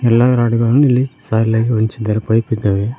ಎಲ್ಲಾ ರಾಡುಗಳನ್ನು ಇಲ್ಲಿ ಸಾಲಿನಲ್ಲಿ ಹೊಂಚಿದ್ದಾರೆ ಪೈಪ್ ಇದ್ದಾವೆ.